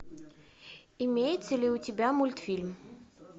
имеется ли у тебя мультфильм